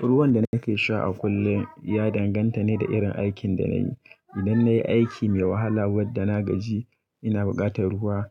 Ruwan da nake sha a kullum ya danganta ne da irin aikin da na yi. Idan na yi aiki mai wahala, wanda na gaji ina buƙatar ruwa.